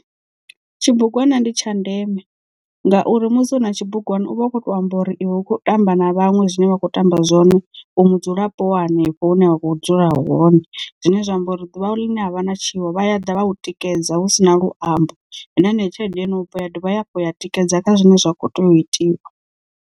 Tshibugwana ndi tsha ndeme ngauri musi una tshibugwana uvha u kho to amba uri iwe u kho tamba na vhanwe zwine vha kho tamba zwone u mudzulapo wa hanefho hune wa kho dzula hone zwine zwa amba uri ḓuvha ḽine ha vha na tshiwo vha ya ḓa vha tikedza hu si na luambo na heneyo tshelede yo no bva ya dovha hafhu ya tikedza kha zwine zwa kho tea u itiwa.